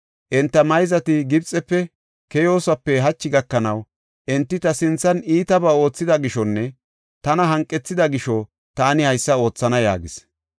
Enta mayzati Gibxefe keyoosope hachi gakanaw, enti ta sinthan iitabaa oothida gishonne tana hanqethida gisho, taani haysa oothana’ ” yaagis.